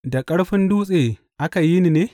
Da ƙarfin dutse aka yi ni ne?